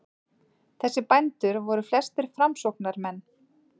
Þessir bændur voru flestir framsóknarmenn.